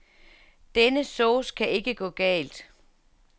Denne sauce kan ikke gå galt.